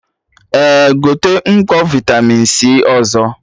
Eh, gote mkpọ vitamin C ọzọ